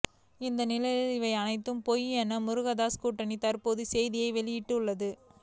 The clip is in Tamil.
இந்த நிலையில் இவை அனைத்தும் பொய் என முருகதாஸ் கூட்டணி தற்போது செய்தியை வெளியிட்டுள்ளது